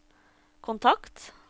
kontakt